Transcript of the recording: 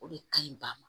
O de kaɲi ba ma